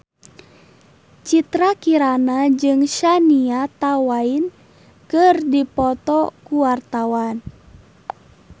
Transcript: Citra Kirana jeung Shania Twain keur dipoto ku wartawan